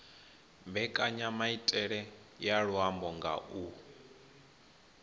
mbekanyamaitele ya luambo nga u